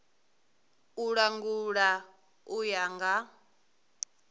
u langula u ya nga